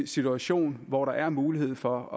situation hvor der er mulighed for